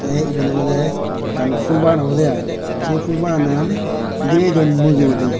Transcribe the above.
tey iben olodey ekkan ful bagan obodey ai sey fulbaganan girey don mujungedi.